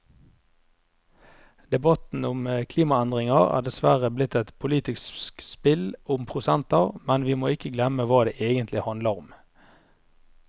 Debatten om klimaendringer er dessverre blitt et politisk spill om prosenter, men vi må ikke glemme hva det egentlig handler om.